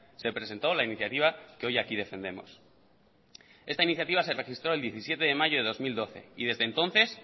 se presentó la iniciativa que hoy aquí defendemos esta iniciativa se registró el diecisiete de mayo de dos mil doce y desde entonces